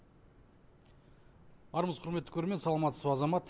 армысыз құрметті көрермен саламатсыз ба азамат